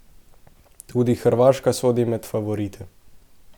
Tudi Hrvaška sodi med favorite.